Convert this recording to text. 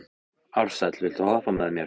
Ársæll, viltu hoppa með mér?